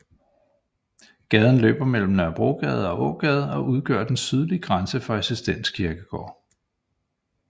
Gaden løber mellem Nørrebrogade og Ågade og udgør den sydlige grænse for Assistens Kirkegård